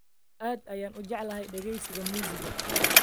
Aad ayaan u jeclahay dhageysiga muusigga